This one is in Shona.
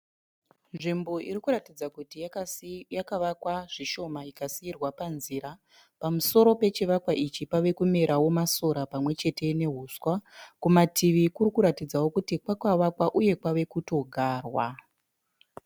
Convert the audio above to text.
Nzvimbo irikuratidza yakavakwa zvishoma ikasiyirwa panzira, pamusoro pechivakwa ichi pave kumerawewo masora pamwechete nehuswa. Kumativi kuri kuratidzawo kuti kwakavakwa uye kwave kutogarwa.